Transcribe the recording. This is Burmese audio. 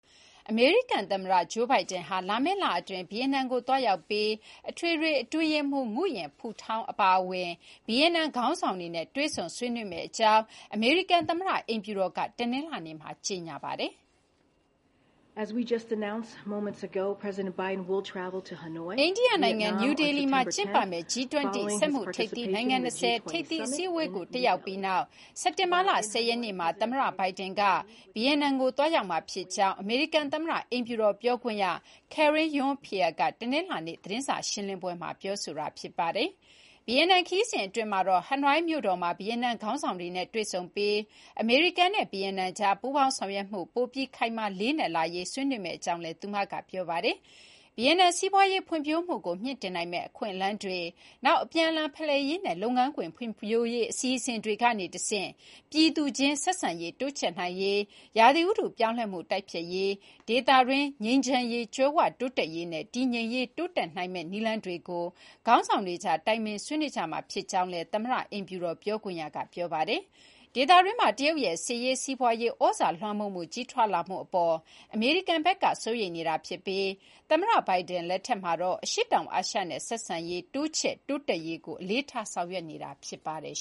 အမေရိကန်သမ္မတ Joe Biden ဟာ လာမယ့်လအတွင်း ဗီယက်နမ်ကို သွားရောက်ပြီး အထွေထွေအတွင်းရေးမှူး Nguyen Phu Trong ၊ နောက် တခြားသော ဗီယက်နမ်ခေါင်းဆောင်တွေနဲ့ တွေ့ဆုံဆွေးနွေးမယ့်အကြောင်း အမေရိကန်သမ္မတအိမ်ဖြူတော်က တနင်္လာနေ့မှာ ကြေညာပါတယ်။ အိန္ဒိယနိုင်ငံနယူးဒေလီမှာကျင်းပမယ့် G20 စီးပွါးရေးအင်အားကြီးနိုင်ငံ ၂၀ ထိပ်သီး အစည်းအဝေးကို တက်ရောက်ပြီးနောက် စက်တင်ဘာလ ၁၀ ရက်နေ့မှာ သမ္မတ Biden က ဗီယက်နမ်ကို သွားရောက်မှာဖြစ်ကြောင်း အမေရိကန်သမ္မတအိမ်ဖြူတော်ပြောခွင့်ရ Karine Jean-Pierre က တနင်္လာနေ့ သတင်းစာရှင်းလင်းပွဲမှာ ပြောပါတယ်။ ဗီယက်နမ်ခရီးစဉ်အတွင်းမှာတော့ ဟနွိုင်းမြို့တော်မှာ ဗီယက်နမ်ခေါင်းဆောင်တွေနဲ့တွေ့ဆုံပြီး အမေရိကန်နဲ့ ဗီယက်နမ်ကြား ပူးပေါင်းဆောင်ရွက်မှု ပိုပြီး ခိုင်မာလေးနက်လာရေး ဆွေးနွေးမယ့်အကြောင်းလည်း သူမက ပြောပါတယ်။ ဗီယက်နမ် စီးပွါးရေးဖွံ့ဖြိုးမှုကို မြှင့်တင်နိုင်မယ့်အခွင့်အလမ်းတွေ၊ နောက် အပြန်အလှန်ဖလှယ်ရေးနဲ့ လုပ်ငန်းခွင်ဖွံ့ဖြိုးရေး အစီအစဉ်တွေကနေတဆင့် ပြည်သူအချင်းချင်းကြား ဆက်ဆံရေးတိုးချဲ့နိုင်ရေး၊ ရာသီဥတုပြောင်းလဲမှု တိုက်ဖျက်ရေး၊ ဒေသတွင်းငြိမ်းချမ်းရေး၊ ကြွယ်ဝတိုးတက်ရေးနဲ့ တည်ငြိမ်ရေး တိုးတက်ရရှိနိုင်မယ့် နည်းလမ်းတွေကို ခေါင်းဆောင်တွေကြား တိုင်ပင် ဆွေးနွေးကြမှာဖြစ်ကြောင်းလည်း အမေရိကန်သမ္မတအိမ်ဖြူတော်ပြောခွင့်ရက ပြောပါတယ်။ ဒေသတွင်းမှာ တရုတ်ရဲ့စစ်ရေး၊ စီးပွါးရေးသြဇာလွှမ်းမိုးမှု ကြီးထွားလာမှုအပေါ်မှာ အမေရိကန်ဘက်က စိုးရိမ်နေပြီး သမ္မတ Biden လက်ထက်မှာတော့ အရှေ့တောင်အာရှနဲ့ ဆက်ဆံရေးတိုးချဲ့ တိုးတက်ရေးကို အလေးထား ဆောင်ရွက်နေတာ ဖြစ်ပါတယ်